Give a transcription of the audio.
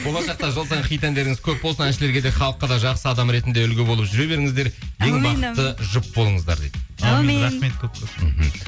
болашақта жыл сайын хит әндеріңіз көп болсын әншілерге де халыққа да жақсы адам ретінде үлгі болып жүре беріңіздер жұп болыңыздар дейді әумин рахмет көп көп мхм